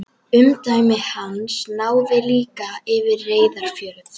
Umdæmi hans náði líka yfir Reyðarfjörð.